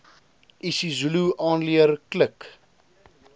isizulu aanleer klik